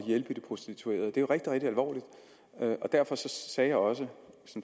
hjælpe de prostituerede det er jo rigtig rigtig alvorligt og derfor sagde jeg også